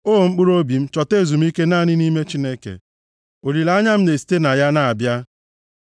O mkpụrụobi m, chọta ezumike naanị nʼime Chineke; olileanya m na-esite na ya na-abịa.